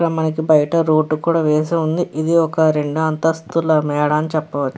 ఇక్కడ మనకి బయట రోడ్డు కూడా వేసి ఉంది. ఇది ఒక రెండు అంతస్తుల మేడ అని చెప్పవ --